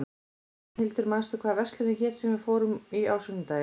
Rafnhildur, manstu hvað verslunin hét sem við fórum í á sunnudaginn?